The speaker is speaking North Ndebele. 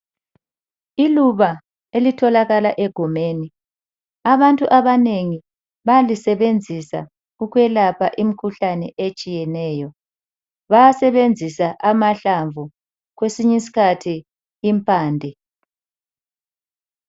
Iluba elitholakala egumeni abantu abanengi bayalisebenzisa ukwelapha imikhuhlane etshiyeneyo, bayasebenzisa amahlamvu kwesinye iskhathi impande.